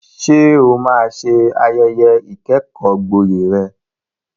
Ṣé o máa ṣe ayẹyẹ ìkẹ́kọ̀ọ́gboyè rẹ?